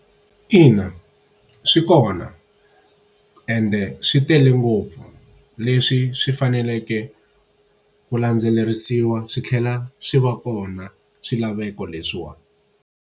Ina, swi kona ende swi tele ngopfu leswi swi faneleke ku landzelerisiwa swi tlhela swi va kona swilaveko leswiwani.